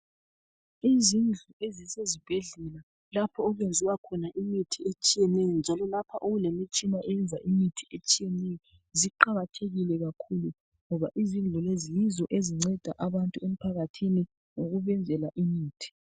Izindlu ezisezibhedlela lapho okwenziwa khona imithi etshiyeneyo njalo lapho okulemitshina enza imithi etshiyeneyo, ziqakathekile kakhulu ngoba izindlu lezi yizo ezinceda abantu emphakathini ngokubenzela imithi.